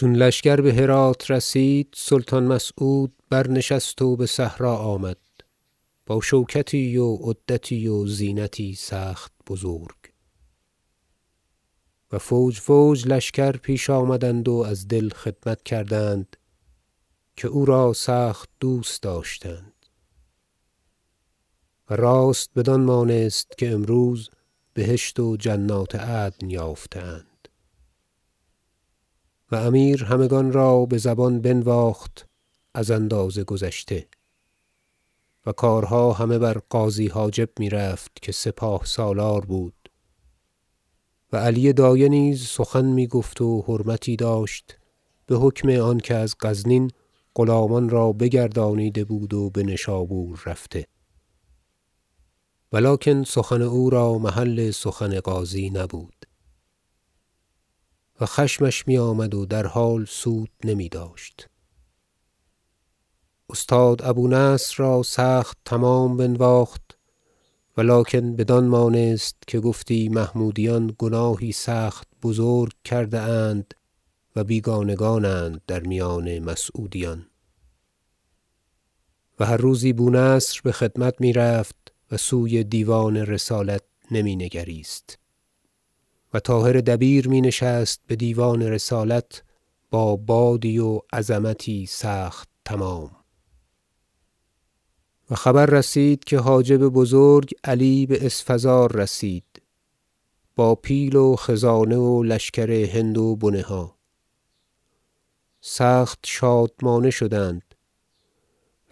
چون لشکر به هرات رسید سلطان مسعود برنشست و به صحرا آمد با شوکتی و عدتی و زینتی سخت بزرگ و فوج فوج لشکر پیش آمدند و از دل خدمت کردند که او را سخت دوست داشتند و راست بدان مانست که امروز بهشت و جنات عدن یافته اند و امیر همگان را به زبان بنواخت از اندازه گذشته و کارها همه بر غازی حاجب می رفت که سپاه سالار بود و علی دایه نیز سخن می گفت و حرمتی داشت به حکم آنکه از غزنین غلامان را بگردانیده بود و به نشابور رفته ولکن سخن او را محل سخن غازی نبود و خشمش می آمد و در حال سود نمی داشت استاد ابو نصر را سخت تمام بنواخت ولکن بدان مانست که گفتی محمودیان گناهی سخت بزرگ کرده اند و بیگانگان اند در میان مسعودیان و هر روزی بو نصر به خدمت می رفت و سوی دیوان رسالت نمی نگریست و طاهر دبیر می نشست به دیوان رسالت با بادی و عظمتی سخت تمام و خبر رسید که حاجب بزرگ علی به اسفزار رسید با پیل و خزانه و لشکر هند و بنه ها سخت شادمانه شدند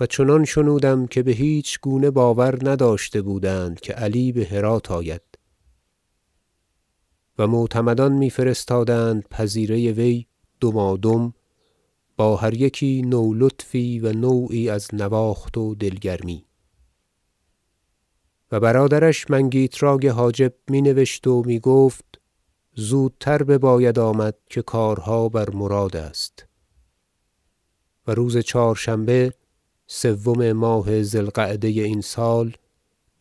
و چنان شنودم که به هیچ گونه باور نداشته بودند که علی به هرات آید و معتمدان می فرستادند پذیره وی دمادم با هر یکی نو لطفی و نوعی از نواخت و دل گرمی و برادرش منگیتراک حاجب می نبشت و می گفت زودتر بباید آمد که کارها بر مراد است و روز چهار شنبه سوم ماه ذی القعده این سال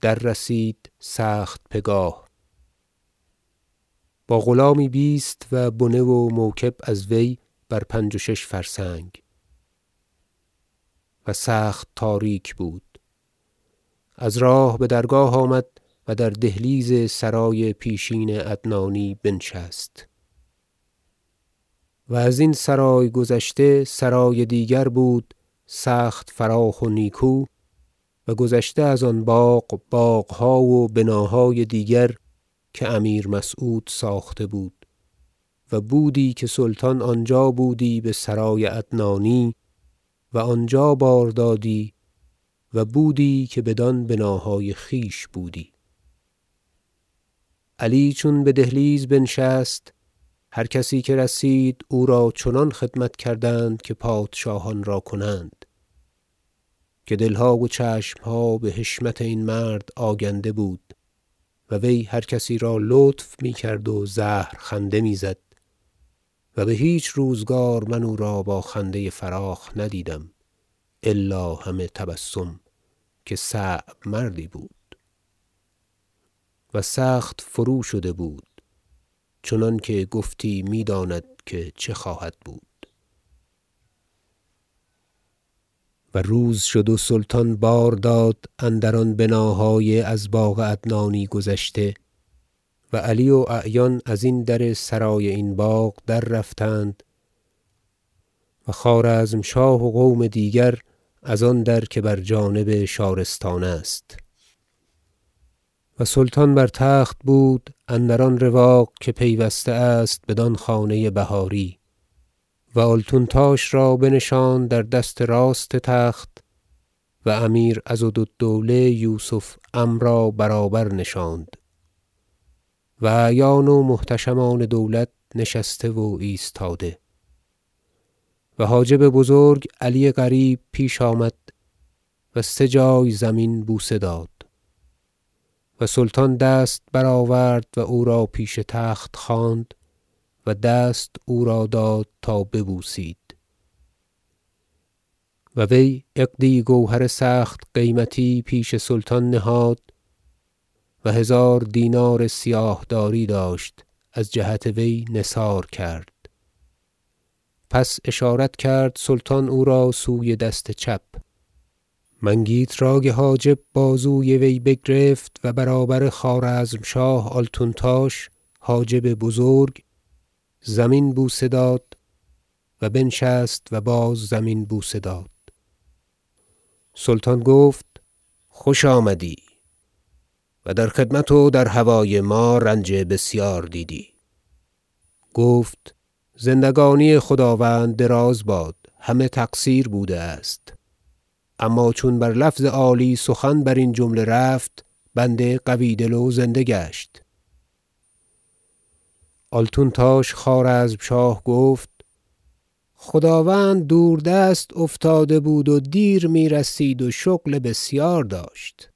دررسید سخت پگاه با غلامی بیست و بنه و موکب از وی بر پنج و شش فرسنگ و سخت تاریک بود از راه به درگاه آمد و در دهلیز سرای پیشین عدنانی بنشست و از این سرای گذشته سرای دیگر بود سخت فراخ و نیکو و گذشته از آن باغ باغها و بناهای دیگر که امیر مسعود ساخته بود و بودی که سلطان آنجا بودی به سرای عدنانی و آنجا بار دادی و بودی که بدان بناهای خویش بودی علی چون به دهلیز بنشست هر کسی که رسید او را چنان خدمت کردند که پادشاهان را کنند که دل ها و چشم ها به حشمت این مرد آگنده بود و وی هرکسی را لطف می کرد و زهر خنده می زد -و به هیچ روزگار من او را با خنده فراخ ندیدم الا همه تبسم که صعب مردی بود- و سخت فرو شده بود چنانکه گفتی می داند که چه خواهد بود و روز شد و سلطان بار داد اندران بناهای از باغ عدنانی گذشته و علی و اعیان از این در سرای این باغ دررفتند و خوارزمشاه و قوم دیگر از آن در که بر جانب شارستان است و سلطان بر تخت بود اندر آن رواق که پیوسته است بدان خانه بهاری و آلتونتاش را بنشاند بر دست راست تخت و امیر عضد الدوله یوسف عم را برابر نشاند و اعیان و محتشمان دولت نشسته و ایستاده و حاجب بزرگ علی قریب پیش آمد و سه جای زمین بوسه داد و سلطان دست برآورد و او را پیش تخت خواند و دست او را داد تا ببوسید و وی عقدی گوهر سخت قیمتی پیش سلطان نهاد و هزار دینار سیاه داری داشت از جهت وی نثار کرد پس اشارت کرد سلطان او را سوی دست چپ منگیتراک حاجب بازوی وی بگرفت و برابر خوارزمشاه آلتونتاش حاجب بزرگ زمین بوسه داد و بنشست و باز زمین بوسه داد سلطان گفت خوش آمدی و در خدمت و در هوای ما رنج بسیار دیدی گفت زندگانی خداوند دراز باد همه تقصیر بوده است اما چون بر لفظ عالی سخن بر این جمله رفت بنده قوی دل و زنده گشت آلتونتاش خوارزمشاه گفت خداوند دوردست افتاده بود و دیر می رسید و شغل بسیار داشت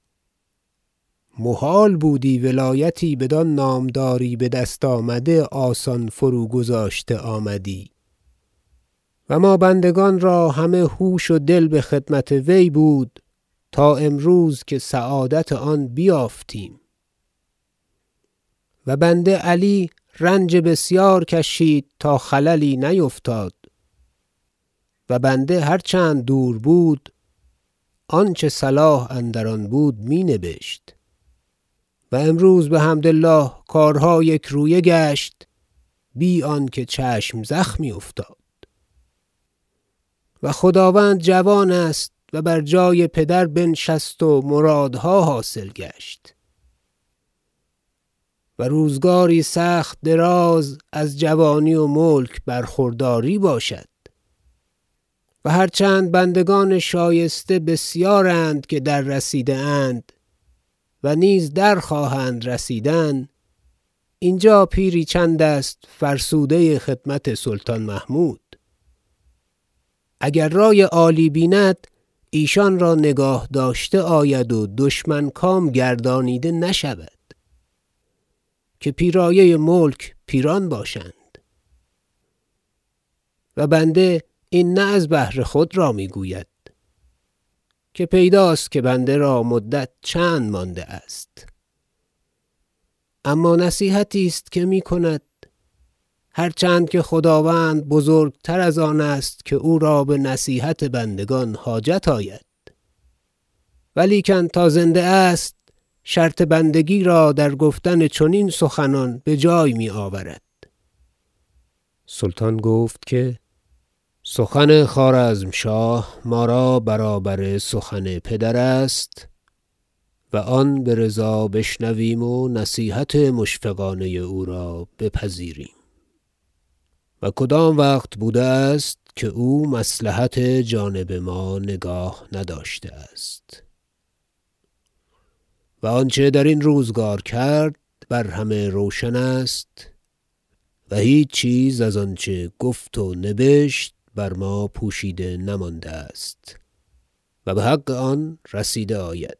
محال بودی ولایتی بدان نامداری به دست آمده آسان فروگذاشته آمدی و ما بندگان را همه هوش و دل به خدمت وی بود تا امروز که سعادت آن بیافتیم و بنده علی رنج بسیار کشید تا خللی نیفتد و بنده هر چند دور بود آنچه صلاح اندر آن بود می نبشت و امروز بحمد الله کارها یکرویه گشت بی آنکه چشم زخمی افتاد و خداوند جوان است و بر جای پدر بنشست و مرادها حاصل گشت و روزگاری سخت دراز از جوانی و ملک برخورداری باشد و هرچند بندگان شایسته بسیارند که دررسیده اند و نیز درخواهند رسیدن اینجا پیری چند است فرسوده خدمت سلطان محمود اگر رای عالی بیند ایشان را نگاه داشته آید و دشمن کام گردانیده نشود که پیرایه ملک پیران باشند و بنده این نه از بهر خود را می گوید که پیداست که بنده را مدت چند مانده است اما نصیحتی است که می کند هرچند که خداوند بزرگ تر از آن است که او را به نصیحت بندگان حاجت آید ولیکن تا زنده است شرط بندگی را در گفتن چنین سخنان به جای می آورد سلطان گفت که سخن خوارزمشاه ما را برابر سخن پدر است و آن به رضا بشنویم و نصیحت مشفقانه او را بپذیریم و کدام وقت بوده است که او مصلحت جانب ما نگاه نداشته است و آنچه درین روزگار کرد بر همه روشن است و هیچ چیز از آنچه گفت و نبشت بر ما پوشیده نمانده است و به حق آن رسیده آید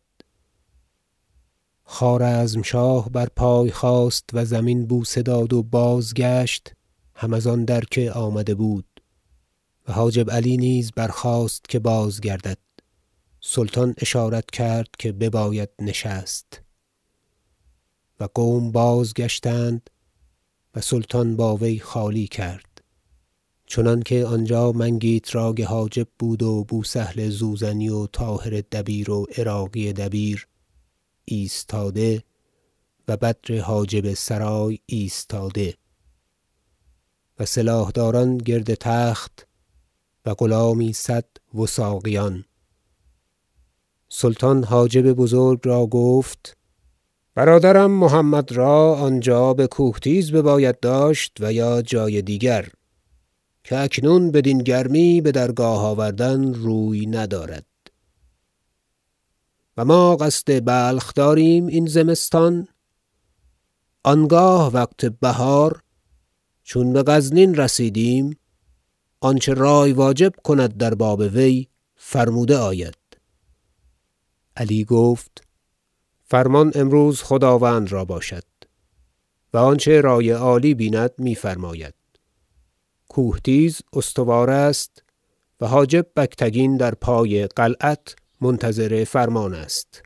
خوارزمشاه بر پای خاست و زمین بوسه داد و بازگشت هم از آن در که آمده بود و حاجب علی نیز برخاست که بازگردد سلطان اشارت کرد که بباید نشست و قوم بازگشتند و سلطان با وی خالی کرد چنانکه آنجا منگیتراک حاجب بود و بو سهل زوزنی و طاهر دبیر و عراقی دبیر ایستاده و بدر حاجب سرای ایستاده و سلاح دار ان گرد تخت و غلامی صد وثاقیان سلطان حاجب بزرگ را گفت برادرم محمد را آنجا به کوهتیز بباید داشت و یا جای دیگر که اکنون بدین گرمی به درگاه آوردن روی ندارد و ما قصد بلخ داریم این زمستان آنگاه وقت بهار چون به غزنین رسیدیم آنچه رای واجب کند در باب وی فرموده آید علی گفت فرمان امروز خداوند را باشد و آنچه رای عالی بیند می فرماید کوهتیز استوار است و حاجب بگتگین در پای قلعت منتظر فرمان است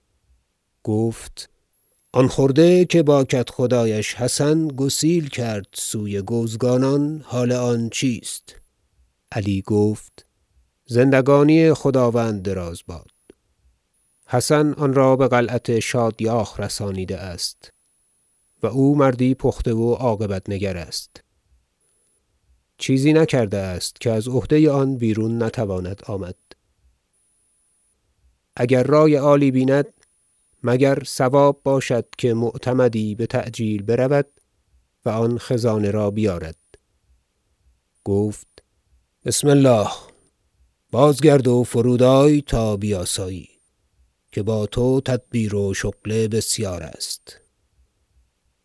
گفت آن خرده که با کدخدایش حسن گسیل کرد سوی گوزگانان حال آن چیست علی گفت زندگانی خداوند دراز باد حسن آن را به قلعه شادیاخ رسانیده است و او مردی پخته و عاقبت نگر است چیزی نکرده است که از عهده آن بیرون نتواند آمد اگر رای عالی بیند مگر صواب باشد که معتمدی به تعجیل برود و آن خزانه را بیارد گفت بسم الله بازگرد و فرودآی تا بیاسایی که با تو تدبیر و شغل بسیار است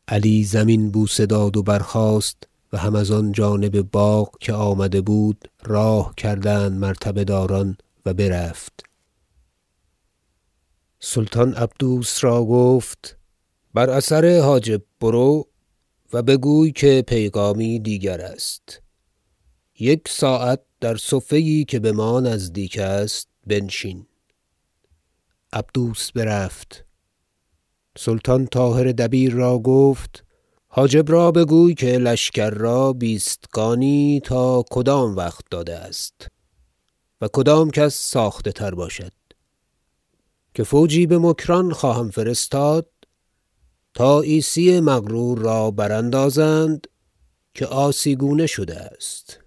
علی زمین بوسه داد و برخاست و هم از آن جانب باغ که آمده بود راه کردند مرتبه داران و برفت سلطان عبدوس را گفت بر اثر حاجب برو و بگوی که پیغامی دیگر است یک ساعت در صفه یی که به ما نزدیک است بنشین عبدوس برفت سلطان طاهر دبیر را گفت حاجب را بگوی که لشکر را بیستگانی تا کدام وقت داده است و کدام کس ساخته تر باشد که فوجی به مکران خواهم فرستاد تا عیسی مغرور را براندازند که عاصی گونه شده است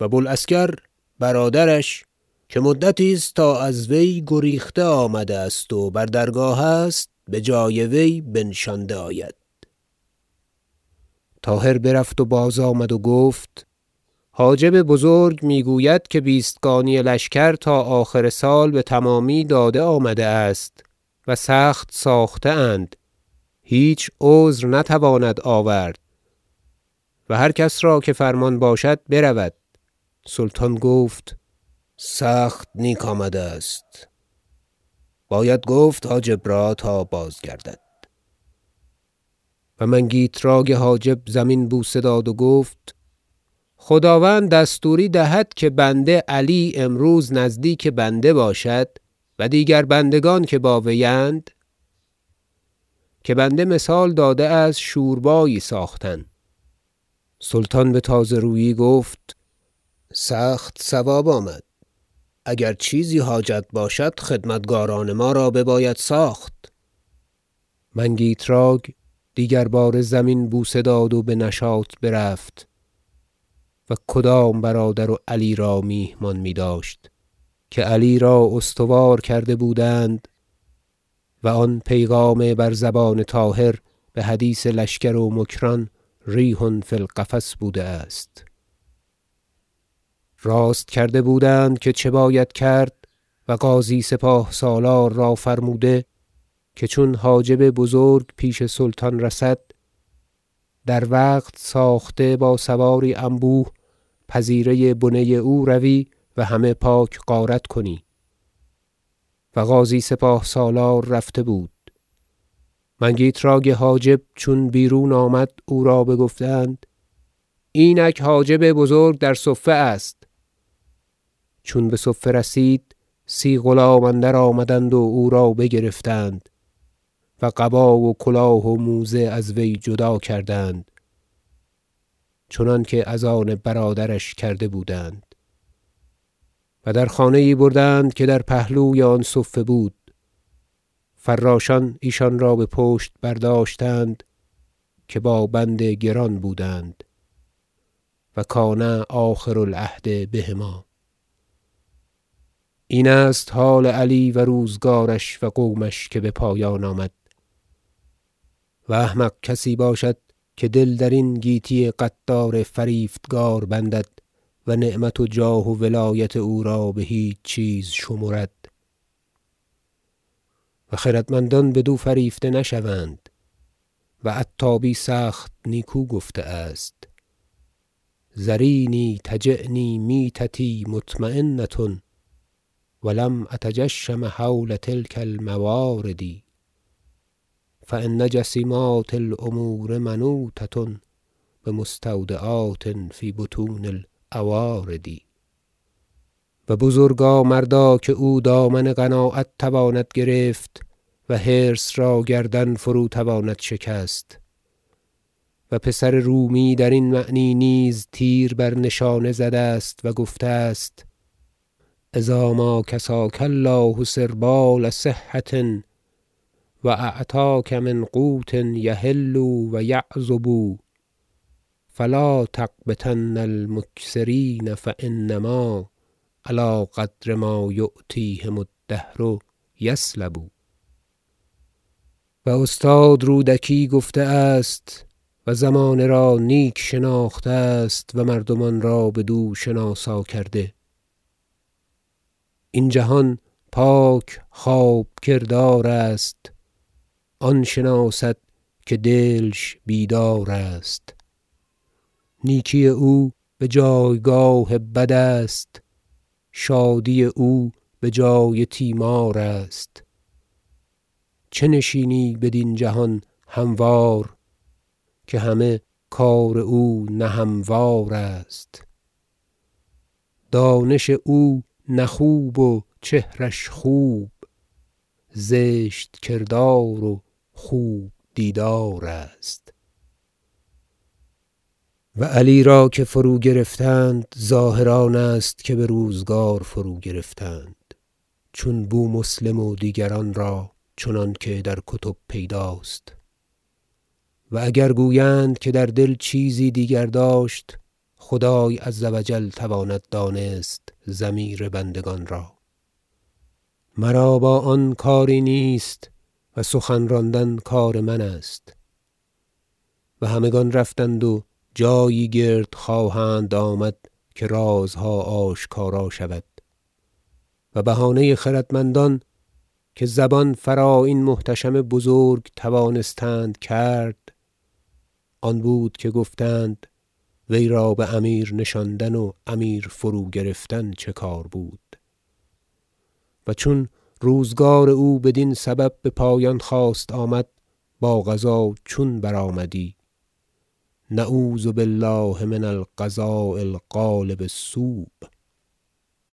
و بوالعسکر برادرش که مدتی است تا از وی گریخته آمده است و بر درگاه است به جای وی بنشانده آید طاهر برفت و باز آمد و گفت حاجب بزرگ می گوید که بیستگانی لشکر تا آخر سال به تمامی داده آمده است و سخت ساخته اند هیچ عذر نتوانند آورد و هر کس را که فرمان باشد برود سلطان گفت سخت نیک آمده است باید گفت حاجب را تا بازگردد و منگیتراک حاجب زمین بوسه داد و گفت خداوند دستوری دهد که بنده علی امروز نزدیک بنده باشد و دیگر بندگان که با وی اند که بنده مثال داده است شوربایی ساختن سلطان به تازه رویی گفت سخت صواب آمد اگر چیزی حاجت باشد خدمتکاران ما را بباید ساخت منگیتراک دیگر باره زمین بوسه داد و به نشاط برفت و کدام برادر و علی را میهمان می داشت که علی را استوار کرده بودند و آن پیغام بر زبان طاهر به حدیث لشکر و مکران ریح فی القفص بوده است راست کرده بودند که چه باید کرد و غازی سپاه سالار را فرموده که چون حاجب بزرگ پیش سلطان رسد در وقت ساخته با سواری انبوه پذیره بنه او روی و همه پاک غارت کنی و غازی سپاه سالار رفته بود منگیتراک حاجب چون بیرون آمد او را بگفتند اینک حاجب بزرگ در صفه است چون به صفه رسید سی غلام اندرآمدند و او را بگرفتند و قبا و کلاه و موزه از وی جدا کردند چنانکه از آن برادرش کرده بودند و در خانه ای بردند که در پهلوی آن صفه بود فراشان ایشان را به پشت برداشتند که با بند گران بودند و کان آخر العهد بهما این است حال علی و روزگارش و قومش که به پایان آمد و احمق کسی باشد که دل درین گیتی غدار فریفتگار بندد و نعمت و جاه و ولایت او را به هیچ چیز شمرد و خردمندان بدو فریفته نشوند و عتابی سخت نیکو گفته است شعر ذریني تجیني میتتي مطمینة و لم أتجشم هول تلک الموارد فإن جسیمات الأمور منوطة بمستودعات في بطون الأوارد و بزرگا مردا که او دامن قناعت تواند گرفت و حرص را گردن فرو تواند شکست و پسر رومی درین معنی نیز تیر بر نشانه زده است و گفته است شعر إذا ما کساک الله سربال صحة و أعطاک من قوت یحل و یعذب فلا تغبطن المکثرین فإنما علی قدر ما یعطیهم الدهر یسلب و استاد رودکی گفته است و زمانه را نیک شناخته است و مردمان را بدو شناسا کرده شعر این جهان پاک خواب کردار است آن شناسد که دلش بیدار است نیکی او به جایگاه بد است شادی او به جای تیمار است چه نشینی بدین جهان هموار که همه کار او نه هموار است دانش او نه خوب و چهرش خوب زشت کردار و خوب دیدار است و علی را که فروگرفتند ظاهر آن است که به روزگار فروگرفتند چون بومسلم و دیگران را چنانکه در کتب پیداست و اگر گویند که در دل چیزی دیگر داشت خدای -عز و جل- تواند دانست ضمیر بندگان را مرا با آن کاری نیست و سخن راندن کار من است و همگان رفتند و جایی گرد خواهند آمد که رازها آشکارا شود و بهانه خردمند ان که زبان فرا این محتشم بزرگ توانستند کرد آن بود که گفتند وی را به امیر نشاندن و امیر فروگرفتن چه کار بود و چون روزگار او بدین سبب به پایان خواست آمد با قضا چون برآمدی نعوذ بالله من القضاء الغالب السوء